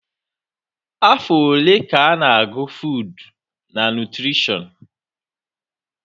Afọ ole ka a na-agụ fuud na nutrishọn?